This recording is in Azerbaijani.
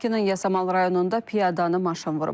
Bakının Yasamal rayonunda piyadanı maşın vurub.